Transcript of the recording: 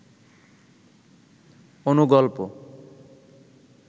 অনুগল্প